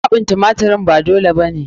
Kwaɓin tumatirin ba dole ba ne.